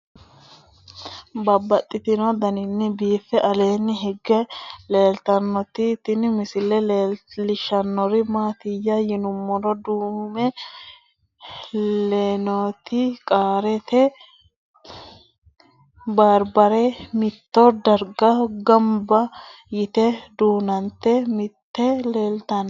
Babaxxittinno daninni biiffe aleenni hige leelittannotti tinni misile lelishshanori isi maattiya yinummoro duume leinnotti qaarette baribare mitto dariga gannibba yiitte duunante nootti leelittanno.